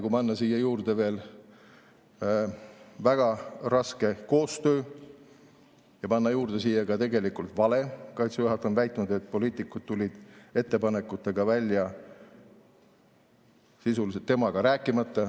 Ja paneme siia juurde väga raske koostöö ja paneme siia juurde ka tegelikult vale: Kaitseväe juhataja on väitnud, et poliitikud tulid ettepanekutega välja sisuliselt temaga rääkimata.